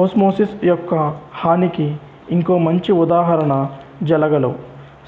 osmosis యొక్క హానికి ఇంకో మంచి ఉదాహరణ జలగలు